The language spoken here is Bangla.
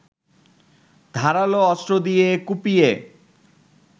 ধারালো অস্ত্র দিয়ে কুপিয়ে